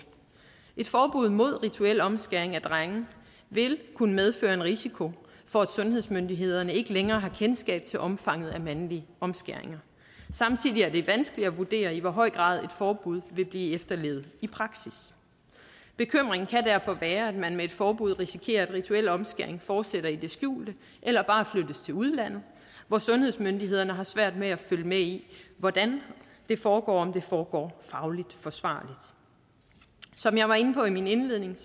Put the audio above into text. et forbud mod rituel omskæring af drenge vil kunne medføre en risiko for at sundhedsmyndighederne ikke længere har kendskab til omfanget af mandlige omskæringer samtidig er det vanskeligt at vurdere i hvor høj grad et forbud vil blive efterlevet i praksis bekymringen kan derfor være at man med et forbud risikerer at rituel omskæring fortsætter i det skjulte eller bare flyttes til udlandet hvor sundhedsmyndighederne har svært ved at følge med i hvordan det foregår og om det foregår fagligt forsvarligt som jeg var inde på i min indledning